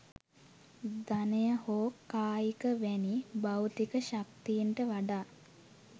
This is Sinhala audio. ධනය හෝ කායික වැනි භෞතික ශක්තීන්ට වඩා